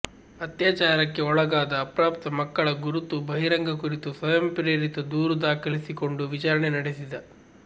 ಅತ್ಯಾಚಾರಕ್ಕೆ ಒಳಗಾದ ಅಪ್ರಾಪ್ತ ಮಕ್ಕಳ ಗುರುತು ಬಹಿರಂಗ ಕುರಿತು ಸ್ವಯಃ ಪ್ರೇರಿತ ದೂರು ದಾಖಲಿಸಿಕೊಂಡು ವಿಚಾರಣೆ ನಡೆಸಿದ